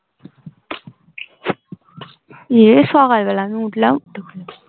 ইয়ে সকাল বেলা উঠলাম